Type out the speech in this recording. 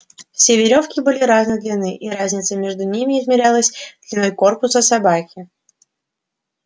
все верёвки были разной длины и разница между ними измерялась длиной корпуса собаки